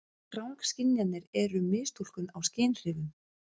Rangskynjanir eru mistúlkun á skynhrifum.